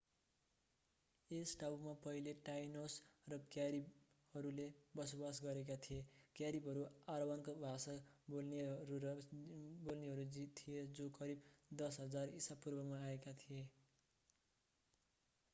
यस टापुमा पहिले टाइनोस र क्यारिबहरूले बसोबास गरेका थिए क्यारिबहरू अरावाकान भाषा बोल्नेहरू थिए जो करिब 10,000 ईसापूर्वमा आएका थिए